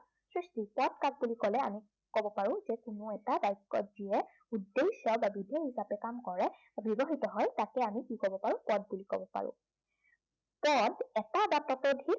পদ কাক বুলি কলে আমি কব পাৰো যে কোনো এটা বাক্য়ত যিয়ে উদ্দেশ্য় বা বিধেয় হিচাপে কাম কৰে বা ব্য়ৱহৃত হয় তাকে আমি কি কব পাৰো, পদ বুলি কব পাৰো। পদ এটা বা ততোধিক